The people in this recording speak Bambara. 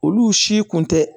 Olu si kun tɛ